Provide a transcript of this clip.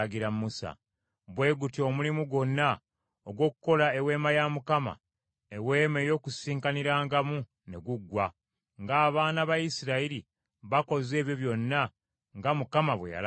Bwe gutyo omulimu gwonna ogw’okukola Eweema ya Mukama , Eweema ey’Okukuŋŋaanirangamu ne guggwa; ng’abaana ba Isirayiri bakoze ebyo byonna nga Mukama bwe yalagira Musa.